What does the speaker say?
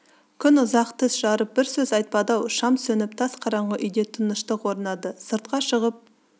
күн ұзақ тіс жарып бір сөз айтпады-ау шам сөніп тас қаранғы үйде тыныштық орнады сыртқа шығып